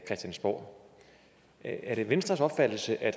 christiansborg er det venstres opfattelse at